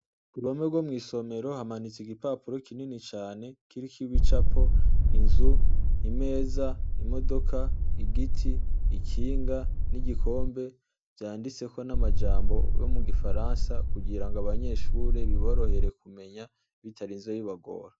Ku ruhome rwo mw'isomero hamanitse igipapuro kinini cane, kiriko ibicapo inzu, intebe, imeza, igiti, ikinga n'igikombe, vyanditseko n'amajambo yo mu gifaransa kugira ngo abanyeshure biborohere kumenya bitarinze bibagora.